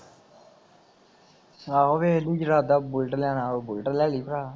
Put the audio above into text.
ਆਹੋ ਵੇਖ ਲਈ ਬੂਲਟ ਲੈਣਾ ਹੋਇਆ ਬੂਲਟ ਲੈ ਲਈ ਭਰਾ